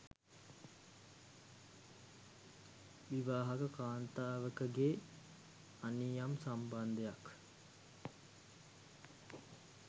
විවාහක කාන්තාවකගේ අනියම් සම්බන්ධයක්